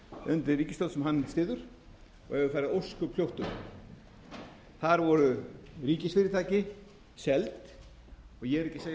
undir ríkisstjórn sem hann styður og hefur farið ósköp hljótt um þar voru ríkisfyrirtæki seld og ég er ekki að segja frú forseti